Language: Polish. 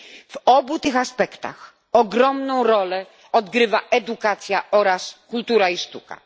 W obu tych aspektach ogromną rolę odgrywa edukacja oraz kultura i sztuka.